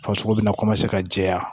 Farisoko bɛna ka jɛya